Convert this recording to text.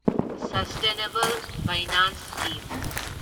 sustainable finance scheme